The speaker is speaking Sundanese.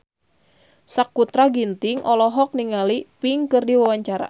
Sakutra Ginting olohok ningali Pink keur diwawancara